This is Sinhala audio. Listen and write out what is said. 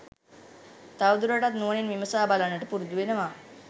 තවදුරටත් නුවණින් විමසා බලන්නට පුරුදු වෙනවා